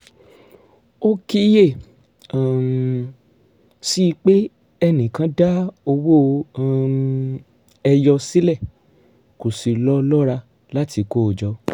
ó kíyè um sí i pé ẹnì kan da owó um ẹyọ sílẹ̀ kò sì lọ́ lọ́ra láti kó o jọ